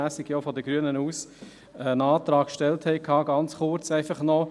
Ich würde aber noch einen Schritt weitergehen.